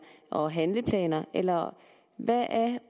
og handleplaner eller hvad er